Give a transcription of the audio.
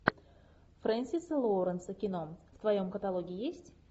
френсиса лоуренса кино в твоем каталоге есть